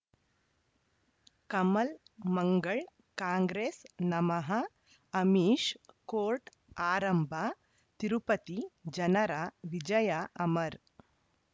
ಕಮಲ್ ಮಂಗಳ್ ಕಾಂಗ್ರೆಸ್ ನಮಃ ಅಮಿಷ್ ಕೋರ್ಟ್ ಆರಂಭ ತಿರುಪತಿ ಜನರ ವಿಜಯ ಅಮರ್